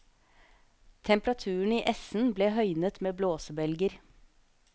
Temperaturen i essen ble høynet med blåsebelger.